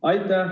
Aitäh!